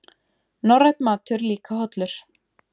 Norrænn matur líka hollur